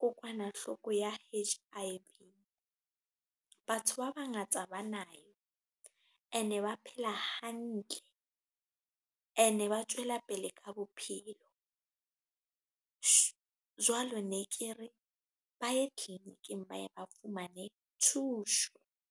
kokwanahloko ya H_I_V. Batho ba bangata ba nayo ene ba phela hantle ene ba tswela pele ka bophelo jwalo ne ke re ba ye tliliniking ba ye ba fumane thuso.